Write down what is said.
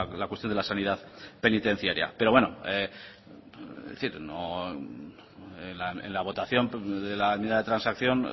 la cuestión de la sanidad penitenciaria pero bueno en la votación de la enmienda de transacción